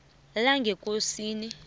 langekosini